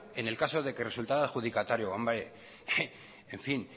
en el caso de que resultará adjudicatario hombre